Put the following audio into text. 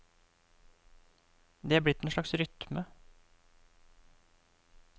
Det er blitt en slags rytme.